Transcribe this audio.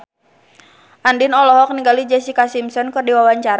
Andien olohok ningali Jessica Simpson keur diwawancara